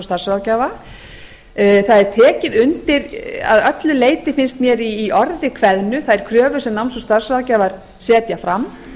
starfsráðgjafa það er tekið undir að öflug leyti finnst mér í orði kveðnu þær kröfur sem náms og starfsráðgjafar setja fram